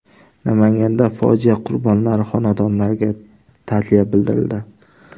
Namanganda fojia qurbonlari xonadonlariga ta’ziya bildirildi.